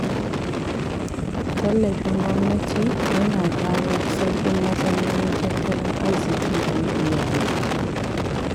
Tallafin gwamnati yana kawo sauƙin matsalolin tattalin arziki da na iyali.